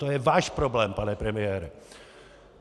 To je váš problém, pane premiére!